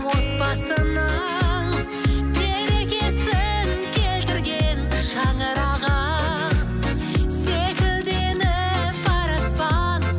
отбасының берекесін келтірген шаңырағы секілденіп бар аспан